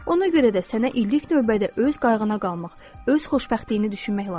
Ona görə də sənə ilk növbədə öz qayğına qalmaq, öz xoşbəxtliyini düşünmək lazımdır.